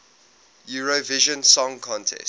eurovision song contest